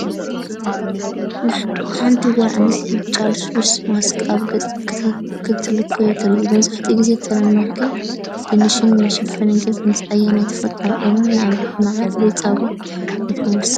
ሓንቲ ጓል ኣንስተይቲ ብጫ ልስሉስ (ማስክ) ኣብ ገጻ ክትለኽዮ ትርአ። መብዛሕትኡ ግዜ ተርሚክን ድንሽን ንመሸፈኒ ገጽ ምስ ኣየናይ ተፈጥሮኣዊ ቀመም (ንኣብነት መዓር ወይ ጸባ) ይሕወስ?